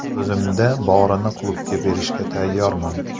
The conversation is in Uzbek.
O‘zimda borini klubga berishga tayyorman.